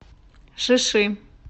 шиши